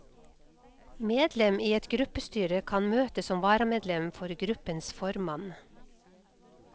Medlem i et gruppestyre kan møte som varamedlem for gruppens formann.